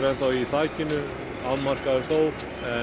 enn þá í þakinu afmarkaður þó